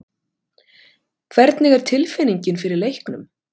Hvernig er tilfinningin fyrir leiknum?